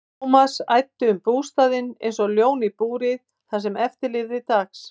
Thomas æddi um bústaðinn einsog ljón í búri það sem eftir lifði dags.